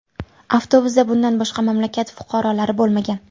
Avtobusda bundan boshqa mamlakat fuqarolari bo‘lmagan.